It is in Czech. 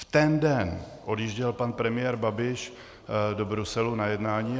V ten den odjížděl pan premiér Babiš do Bruselu na jednání.